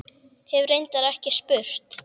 Hef reyndar ekki spurt.